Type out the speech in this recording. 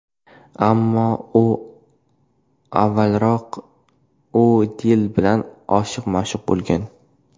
Ammo avvalroq U Idil bilan oshiq-ma’shuq bo‘lgan.